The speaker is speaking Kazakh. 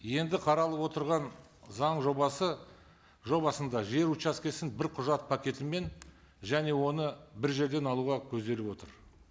енді қаралып отырған заң жобасы жобасында жер учаскесін бір құжат пакетімен және оны бір жерден алуға көзделіп отыр